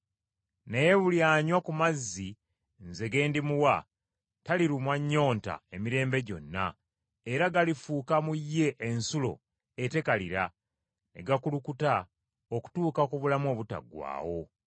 Naye buli anywa ku mazzi nze ge ndimuwa, talirumwa nnyonta emirembe gyonna era galifuuka mu ye ensulo etekalira, ne gakulukuta okutuuka ku bulamu obutaggwaawo.”